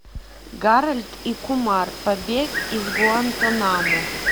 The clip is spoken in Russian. гарольд и кумар побег из гуантанамо